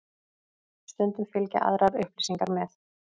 Stundum fylgja aðrar upplýsingar með.